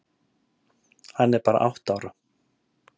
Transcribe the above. Hann er bara átta ára.